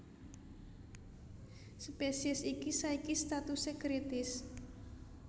Spésiés iki saiki statusé kritis